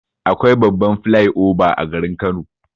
Akwai babban flai oba a garin Kano.